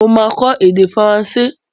Mo máa kọ èdè faransé.